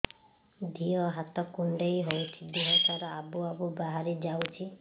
ଦିହ ହାତ କୁଣ୍ଡେଇ ହଉଛି ଦିହ ସାରା ଆବୁ ଆବୁ ବାହାରି ଯାଉଛି